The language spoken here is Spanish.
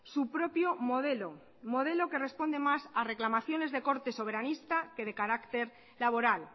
su propio modelo modelo que responde más a reclamaciones de corte soberanista que de carácter laboral